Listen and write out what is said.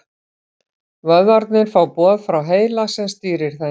Vöðvarnir fá boð frá heila sem stýrir þeim.